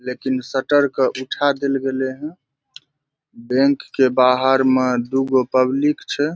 लेकिन शटर के उठा देल गले हेय बैंक के बाहर में दू गो पब्लिक छै ।